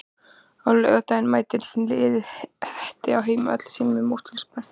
Á laugardaginn mætir liðið Hetti á heimavelli sínum í Mosfellsbæ.